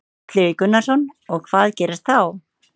Illugi Gunnarsson: Og hvað gerist þá?